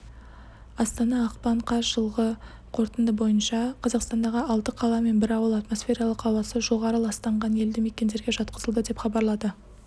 астана ақпан қаз жылғы қорытынды бойынша қазақстандағы алты қала мен бір ауыл атмосфералық ауасы жоғары ластанған елді мекендерге жатқызылды деп хабарлады